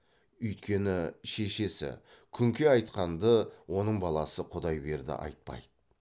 үйткені шешесі күнке айтқанды оның баласы құдайберді айтпайды